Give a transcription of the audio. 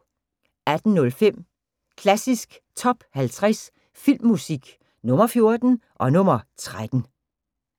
18:05: Klassisk Top 50 Filmmusik – Nr. 14 og nr. 13